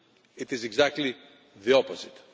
It is exactly the opposite.